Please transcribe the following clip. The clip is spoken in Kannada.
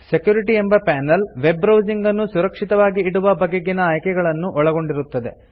ಸೆಕ್ಯೂರಿಟಿ ಎಂಬ ಪಾನೆಲ್ ವೆಬ್ ಬ್ರೌಸಿಂಗ್ ನನ್ನು ಸುರಕ್ಷಿತವಾಗಿ ಇಡುವ ಬಗೆಗಿನ ಆಯ್ಕೆಗಳನ್ನು ಒಳಗೊಂಡಿರುತ್ತದೆ